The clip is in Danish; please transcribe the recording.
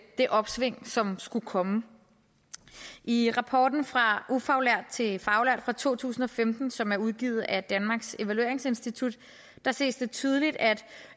det opsving som skulle komme i rapporten fra ufaglært til faglært fra to tusind og femten som er udgivet af danmarks evalueringsinstitut ses det tydeligt at